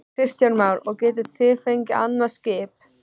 Kristján Már: Og getið þið fengið annað skip?